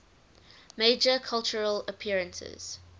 major cultural appearances